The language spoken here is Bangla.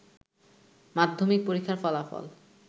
মাধ্যমিক পরীক্ষার ফলাফল